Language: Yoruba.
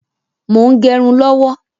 Mo ń gẹrun lọ́wọ́.